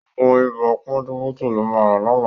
Ògùn ibà pọ́njúpọ́tọ̀ ló ma rà lọ́la